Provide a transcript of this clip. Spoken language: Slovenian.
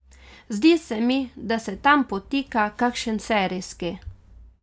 Zdi se mi, da se tam potika kakšen serijski.